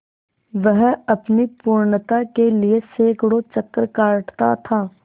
वह अपनी पूर्णता के लिए सैंकड़ों चक्कर काटता था